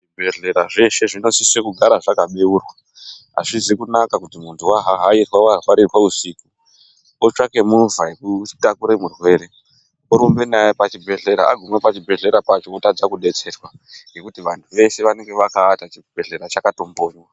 Zvibhedhlera zveshe zvinosise kugara zvakabeurwa. Azvizi kunaka kuti muntu wahahairwa warwarirwa usiku otsvake movha iyekutakure murwere orumbe naye pachibhedhlera. Agume pachibhedhlera pacho otadza kudetserwa ngekuti vantu veshe vanenge akaata chibhedhlera chakatombonywa.